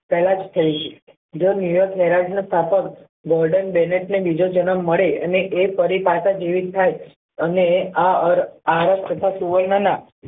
પહેલા જ કહ્યું છે જો ને બીજો જન્મ મળે અને એ ફરી પાછા જીવિત થાય અને આ ઔર તથા સુવર્ણા ના